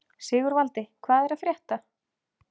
Sigurvaldi, hvað er að frétta?